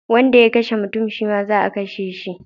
Wanda ya kashe mutum shi ma za a kashe shi